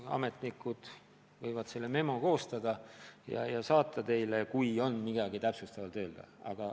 Nad võivad selle memo koostada ja teile saata, kui on midagi lisaks öelda.